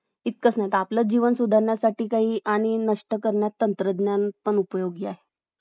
इतकच नाही तर आपलं जीवन सुधारण्यासाठी आणि नष्ट करण्यासाठी तंत्रज्ञान पण उपयोगी आहे